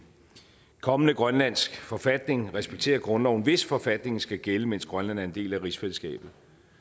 kommende grønlandsk forfatning respekterer grundloven hvis forfatningen skal gælde mens grønland er en del af rigsfællesskabet